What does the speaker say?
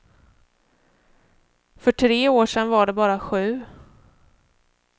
För tre år sedan var det bara sju.